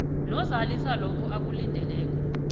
nozalisa lokho akulindeleko